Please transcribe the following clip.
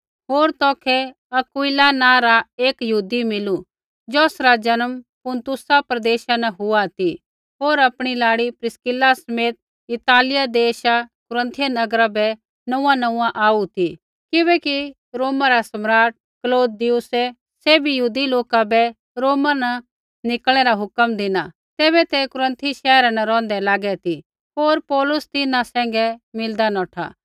होर तौखै अक्विला नाँ रा एक यहूदी मिलू ज़ौसरा जन्म पुन्तुसा प्रदेशा न हुआ ती होर आपणी लाड़ी प्रिस्किला समेत इतालिया देशा कुरिन्थियुस नगरा बै नोंऊँआंनोंऊँआं आऊ ती किबैकि रोमा रा सम्राट क्लौदियुसै सैभी यहूदी लोका बै रोमा न निकल़णै रा हुक्म धिना तैबै तै कुरन्थी शैहरा न रौंहदै लागै ती होर पौलुस तिन्हां सैंघै मिलदा नौठा